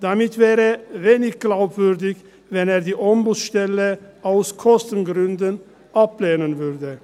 Damit wäre wenig glaubwürdig, wenn er die Ombudsstelle aus Kostengründen ablehnen würde.